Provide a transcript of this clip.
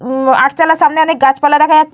হুম আটচালার সামনে অনেক গাছ পালা দেখা যা --